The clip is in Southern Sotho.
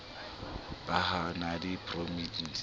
ba ha a na diprotheine